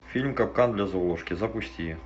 фильм капкан для золушки запусти